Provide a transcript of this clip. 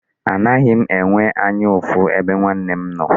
Anaghị m enwe anya ụfụ ebe nwanne m nọ.